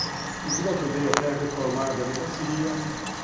Inclusive, ajudei até a reformar a delegacia...